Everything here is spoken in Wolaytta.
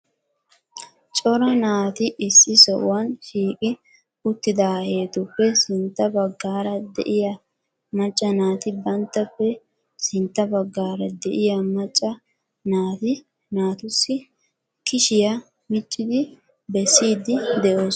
Cora naati issi sohuwan shiiqi uttidaahetuppe sintta baggaara de'iyaa macca naati banttappe sintta baggaara de'iyaa macca naati naatussi kishiyaa miccidi bessiid de'oosona.